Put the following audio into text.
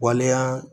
Waleya